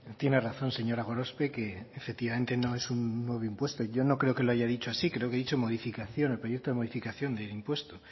tiene razón señora gorospe que efectivamente no es un nuevo impuesto y yo no creo que lo haya dicho así creo que he dicho modificación proyecto de modificación de impuesto